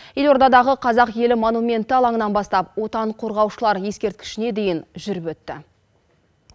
елордадағы қазақ елі монументі алаңынан бастап отан қорғаушылар ескерткішіне дейін жүріп өтті